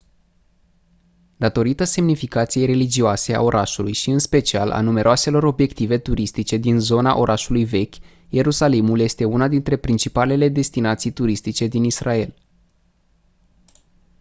datorită semnificației religioase a orașului și în special a numeroaselor obiective turistice din zona orașului vechi ierusalimul este una dintre principalele destinații turistice din israel